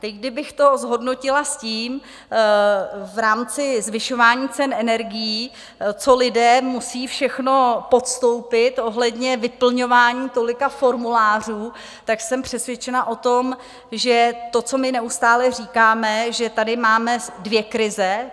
Teď kdybych to zhodnotila s tím v rámci zvyšování cen energií, co lidé musí všechno podstoupit ohledně vyplňování tolika formulářů, tak jsem přesvědčena o tom, že to, co my neustále říkáme, že tady máme dvě krize.